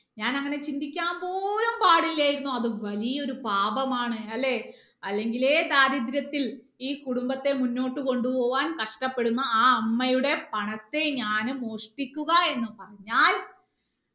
ഞാൻ അങ്ങനെ ചിന്തിക്കാൻ പോലും പാടില്ലായിരുന്നു അത് വലിയൊരു പാപമാണ് അല്ലേ അല്ലെങ്കിലേ ദാരിദ്രത്തിൽ ഈ കുടുംബത്തെ മുന്നോട്ട് കൊണ്ട് പോവാൻ കഷ്ട്ടപ്പെടുന്ന ആ അമ്മയുടെ പണത്തെ ഞാൻ മോഷ്ട്ടിക്കുക എന്ന് പറഞ്ഞാൽ